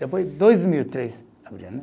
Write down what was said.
Depois dois mil e três abriu, né?